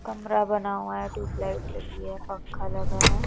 कमरा बना हुआ है ट्यूबलाइट लगी है पंखा लगा है।